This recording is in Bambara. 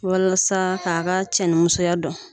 Walasa k'a ka cɛni musoya dɔn.